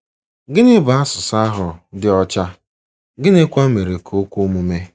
Gịnị bụ “ asụsụ ahụ dị ọcha ,” gịnịkwa mere ka o kwe omume?